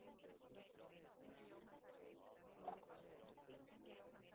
Hvernig er hægt að greina geðraskanir hjá slíkum börnum?